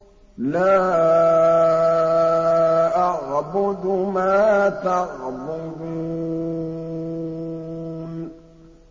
لَا أَعْبُدُ مَا تَعْبُدُونَ